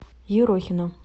ерохина